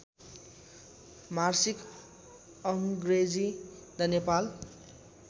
मासिक अङ्ग्रेजी द नेपाल